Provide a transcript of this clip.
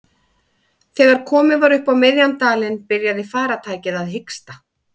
Þegar komið var upp á miðjan dalinn byrjaði farartækið að hiksta.